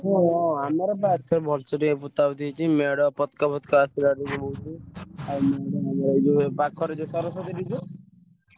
ହଁ ଆମର ଟିକେ ବଢିଆସେ ହେଇଛି ।